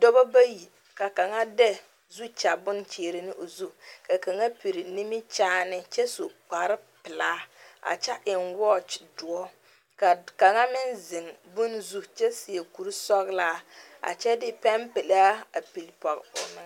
Dɔɔba bayi ka kaŋa de zukyɛ bon kyɛre ne o zu ka kaŋa piri nimikyaane kyɛ su kpare pelaa a kyɛ eŋ watch dɔɔ ka kaŋa meŋ zeŋ bon zu kyɛ seɛ kuri sɔglaa a kyɛ de peŋ pelaa peli Pɔge o meŋa.